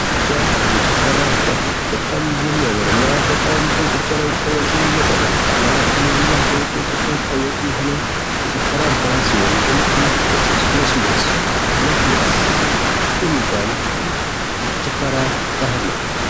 የጎጃም የጭፈራ ባህል የሚያምርና በኢትዮጵያ ላይ በጣም ታዋቂ የሆነ በአማራ ክልልም አልፎ በኢትዮጵያ ታዋቂ የሆነ የጭፈራ ባህል ሲሆን ይህም እንቅጥቅጥ ሦስት ምት ሁለት ምት የጭፈራ ባህል ነው።